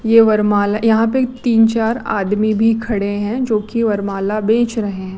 ये वरमाला यहां पे तीन चार आदमी भी खड़े हैं जो की वरमाला बेच रहे हैं।